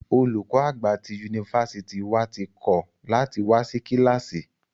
Olùkọ àgbà tí yunifásítì wà tí kọ̀ lati wá sí kílàsì.